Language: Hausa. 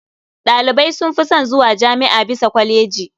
Ɗalibai sun fi son zuwa jami'a bisa kwaleji.